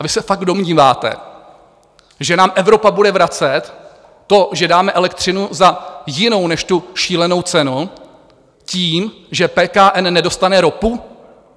A vy se fakt domníváte, že nám Evropa bude vracet to, že dáme elektřinu za jinou než tu šílenou cenu tím, že PKN nedostane ropu?